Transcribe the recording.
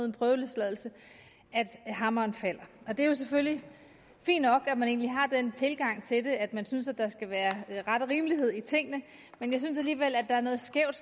en prøveløsladelse at hammeren falder det er jo selvfølgelig fint nok at man har den tilgang til det at man synes at der skal være ret og rimelighed i tingene men jeg synes alligevel at der er noget skævt